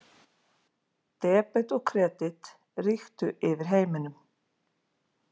Debet og kredit ríktu yfir heiminum.